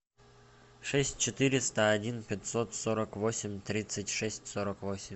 шесть четыреста один пятьсот сорок восемь тридцать шесть сорок восемь